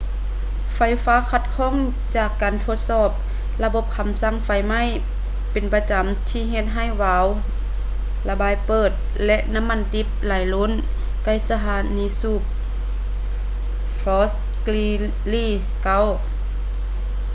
ໄຟຟ້າຂັດຂ້ອງຈາກການທົດສອບລະບົບຄໍາສັ່ງໄຟໄໝ້ເປັນປະຈໍາທີ່ເຮັດໃຫ້ວາວລະບາຍເປີດ ແລະ ນໍ້າມັນດິບໄຫຼລົ້ນໃກ້ສະຖານີສູບ fort greely 9